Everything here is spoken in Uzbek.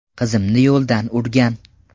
Qizimni yo‘ldan urgan.